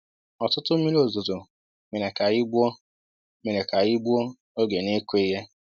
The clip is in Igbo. Ọtụtụ mmiri ozuzo mere k'anyi gbuo mere k'anyi gbuo oge n'ikụ ihe